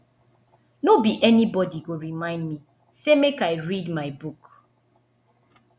no be anybody go remind me sey make i read my book